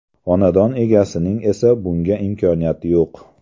Xonadon egasining esa bunga imkoniyati yo‘q.